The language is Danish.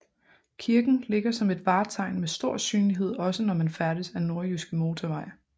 Kirken ligger som et vartegn med stor synlighed også når man færdes ad Nordjyske Motorvej